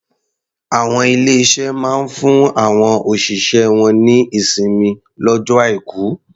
Àwọn ilé-iṣé máa ń fún àwọn òṣìṣẹ́ wọ́n ní ìsinmi lọ́jọ́ Aìkù.